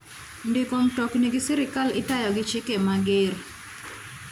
Ndiko mtokni gi sirkal itayo gi chike mager.